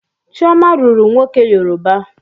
Chioma lụrụ nwoke Yoruba.